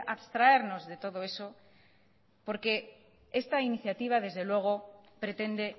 abstraernos de todo eso porque esto iniciativa desde luego pretende